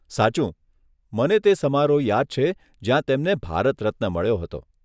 સાચું, મને તે સમારોહ યાદ છે જ્યાં તેમને ભારત રત્ન મળ્યો હતો.